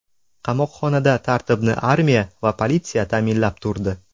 Qamoqxonada tartibni armiya va politsiya ta’minlab turdi.